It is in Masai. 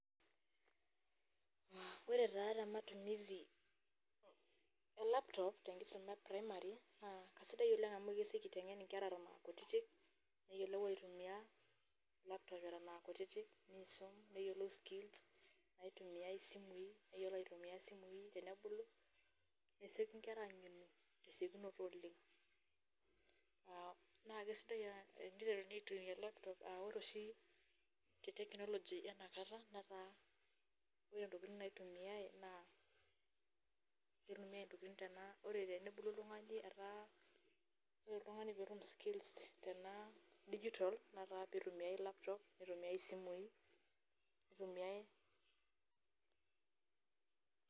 Ore taa tematumisi e laptop tenkisuma eprimary naa keisidai oleng amu kesieki aitengen inkera eton kutitik neyiolo aitumiyia laptop eton aakutitik, neisumare neyiolou skills naitumiyai isimui neyiolou aitumiyia simui tenebulu ,nesieki inkera aangenu tesiokinoto oleng .naa kesidai teniteruni aitumiyia laptop aa ore te technology ena kata naa keitumiyai naa ore tenebulu oltungani etaa ,ore pee itum oltungani skills tena digital netaa pee peitumiyai laptop nietumiae isimui.